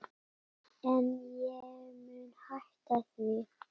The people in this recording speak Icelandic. En ég mun hætta því.